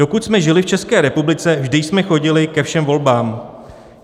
Dokud jsme žili v České republice, vždy jsme chodili ke všem volbám.